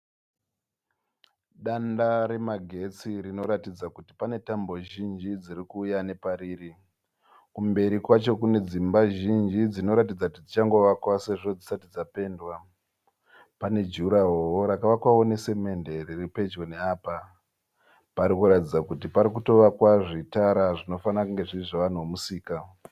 Danda remagetsi rinoratidza kuti pane tambo zhinji dzirikuuya nepariri. Kumberi kwacho kunedzimba zhinji dzinoratidza kuti dzichangovakwa sezvo dzisati dzapendwa. Pane jurahorowo rakavakwa nesimende riripedyo neapa. Parikuratidza kuti parikuvakwa zvitara zvinofarira kunge zviri zvevanhu vemusika.